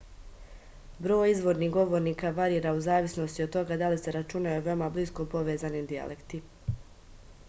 broj izvornih govornika varira u zavisnosti od toga da li se računaju veoma blisko povezani dijalekti